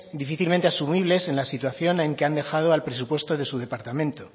difícilmente asumibles en la situación en que han dejado el presupuesto de su departamento